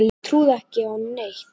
Nei ég trúði ekki á neitt.